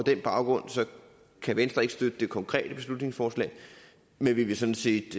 den baggrund kan venstre ikke støtte det konkrete beslutningsforslag men vi vil sådan set